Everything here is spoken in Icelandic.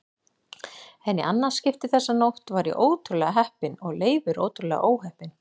En í annað skipti þessa nótt var ég ótrúlega heppinn og Leifur ótrúlega óheppinn.